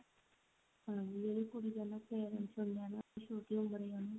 ਜਿਹੜੇ ਕੁੜੀ ਦੇ parents ਹੁੰਦੇ ਆ ਨਾ ਉਹ ਛੋਟੀ ਉਮਰੇ ਉਹਨੂੰ